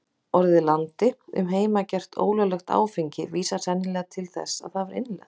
Orðið landi um heimagert, ólöglegt áfengi, vísar sennilega til þess að það var innlent.